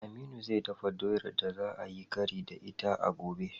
Aminu zai dafa doyar da za ayi kari da ita a gobe.